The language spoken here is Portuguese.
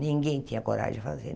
Ninguém tinha coragem de fazer.